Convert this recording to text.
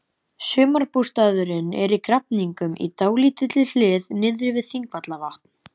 Sumarbústaðurinn er í Grafningnum, í dálítilli hlíð niðri við Þingvallavatn.